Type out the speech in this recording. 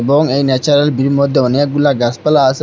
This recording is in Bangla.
এবং এই ন্যাচারাল ভিউয়ের মধ্যে অনেকগুলা গাসপালা আসে ম--